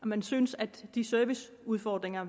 man synes at de serviceudfordringer